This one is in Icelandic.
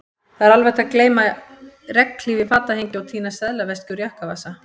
Það er hægt að gleyma regnhlíf í fatahengi og týna seðlaveski úr jakkavasa